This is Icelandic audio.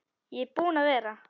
Ég er búinn að vera.